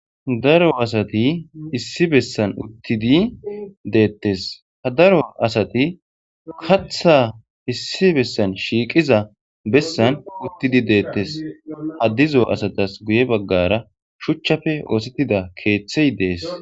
Daro asati issi bessan uttidi deettes ha daro asati katha issi bessan shiiqiza bessan uttidi deettes haddizo asatas guye baggara shuchchafe oosettida keeththey dees.